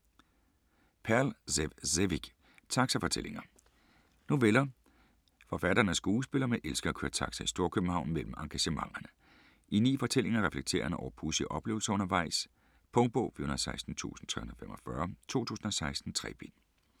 Perl, Zeév Sevik: Taxafortællinger Noveller. Forfatteren er skuespiller, men elsker at køre taxa i Storkøbenhavn mellem engagementerne. I 9 fortællinger reflekterer han over pudsige oplevelser undervejs. Punktbog 416345 2016. 3 bind.